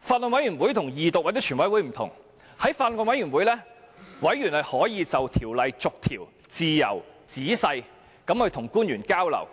法案委員會與二讀或全體委員會不同，在法案委員會上，委員可以與官員自由、仔細地逐項條例進行交流，